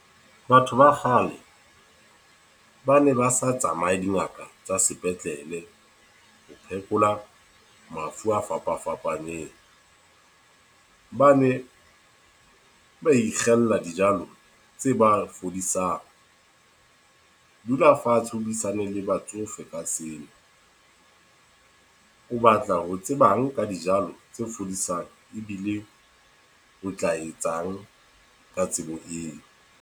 Batho ba kgale, ba ne ba sa tsamaye dingaka tsa sepetlele, ho phekola mafu a fapa-fapaneng. Ba ne ba ikgella dijalo tse ba fodisang. Dula fatshe o buisane le batsofe ka seo. O batla ho tsebang ka dijalo tse fodisang, ebile o tla etsang ka tsebo eo?